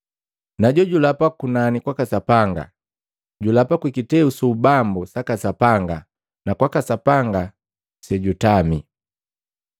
Najojulapa kwa kunani kwaka Sapanga, julapa kwi kiteu su ubambu saka Sapanga na kwaka Sapanga sejutami.